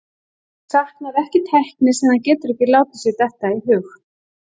Fólk saknar ekki tækni sem það getur ekki látið sér detta í hug.